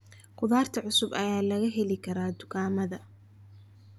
Khudaarta cusub ayaa laga heli karaa dukaamada.